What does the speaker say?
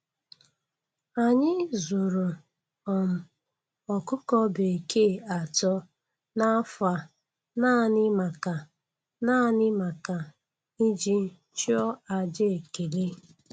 Anyị zụrụ um ọkụkọ bekee atọ n'afọ a naanị maka naanị maka iji chụọ aja ekele